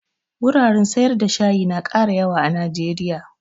Wuraren sayar da shayi na ƙara yawa a najeriya